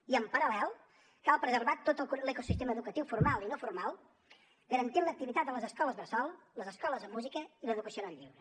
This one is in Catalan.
i en paral·lel cal preservar tot l’ecosistema educatiu formal i no formal garantint l’activitat a les escoles bressol les escoles de música i l’educació en el lleure